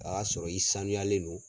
A y'a sɔrɔ i sanuyalen do.